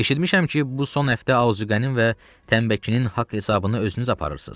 Eşitmişəm ki, bu son həftə Aqa qənim və Təmbəkinin haqq hesabını özünüz aparırsız.